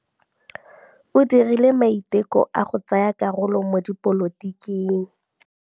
O dirile maitekô a go tsaya karolo mo dipolotiking.